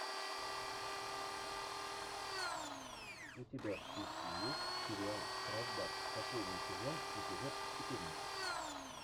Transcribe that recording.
у тебя в списке есть сериал штрафбат последний сезон эпизод четырнадцать